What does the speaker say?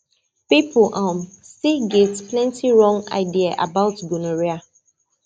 people um still get plenty wrong idea about gonorrhea